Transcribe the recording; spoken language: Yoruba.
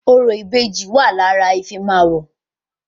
Orò ìbejì wà lára ìfimáwọ̀